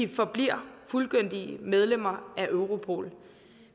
vi forbliver fuldgyldigt medlem af europol